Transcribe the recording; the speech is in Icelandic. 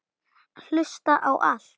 Hlusta á allt!!